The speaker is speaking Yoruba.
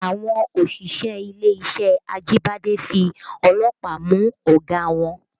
Àwọn òṣìṣẹ́ ilé-iṣẹ́ Ajibade fi ọlọ́pàá mú ọ̀gá wọn